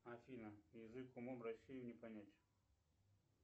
афина язык умом россию не понять